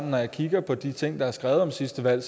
når jeg kigger på de ting der er skrevet om sidste valg